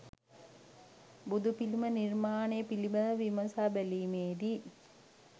බුදුපිළිම නිර්මාණය පිළිබඳව විමසා බැලීමේදී